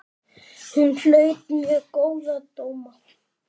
Hún hlaut mjög góða dóma.